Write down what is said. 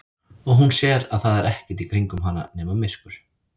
Og hún sér að það er ekkert í kringum hana nema myrkur.